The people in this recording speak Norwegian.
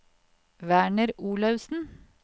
Werner Olaussen